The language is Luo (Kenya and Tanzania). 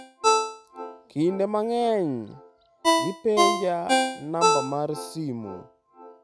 Kinde mang’eny, gipenja namba mar simu.